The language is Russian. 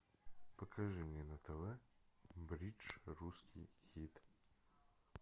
покажи мне на тв бридж русский хит